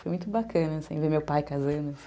Foi muito bacana, assim, ver meu pai casando.